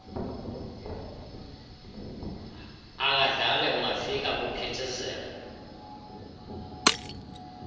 akadlali ungafika kuphithizela